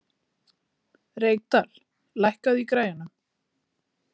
Reykdal, lækkaðu í græjunum.